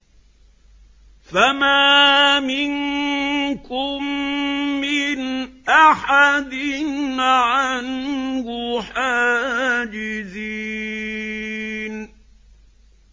فَمَا مِنكُم مِّنْ أَحَدٍ عَنْهُ حَاجِزِينَ